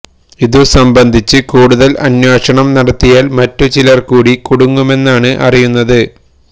ഇതുസംബന്ധിച്ച് കൂടുതൽ അന്വേഷണം നടത്തിയാൽ മറ്റു ചിലർ കൂടി കുടുങ്ങുമെന്നാണ് അറിയുന്നത്